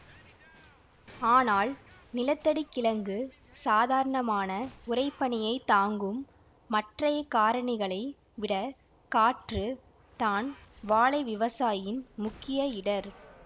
ஆனால் நிலத்தடிக் கிழங்கு சாதாரணமான உறைபனியைத் தாங்கும் மற்றைய காரணிகளை விட காற்று தான் வாழை விவசாயியின் முக்கிய இடர்